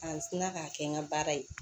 K'an sina k'a kɛ n ka baara ye